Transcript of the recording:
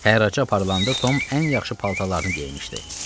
Hərraca aparılanda Tom ən yaxşı paltarlarını geymişdi.